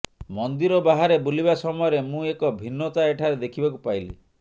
ମନ୍ଦିର ବାହାରେ ବୁଲିବା ସମୟରେ ମୁଁ ଏକ ଭିନ୍ନତା ଏଠାରେ ଦେଖିବାକୁ ପାଇଲି